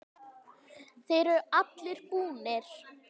Þeir eru allir búnir.